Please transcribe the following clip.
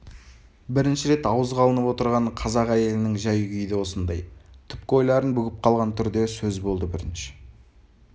бірінші рет ауызға алынып отырған қазақ әйелінің жәй-күйі де осындай түпкі ойларын бүгіп қалған түрде сөз болды бірінші